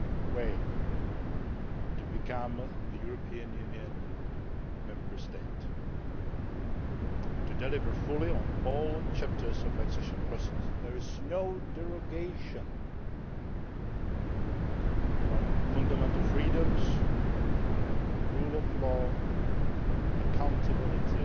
way to become a European Union Member State to deliver fully on all chapters of the accession process. There is no derogation from the fundamental freedoms, rule of law, accountability